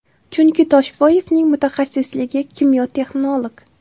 Chunki Toshboyevning mutaxassisligi kimyo-texnolog.